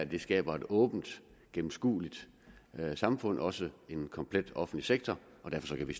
det skaber et åbent og gennemskueligt samfund og også en komplet offentlig sektor derfor kan vi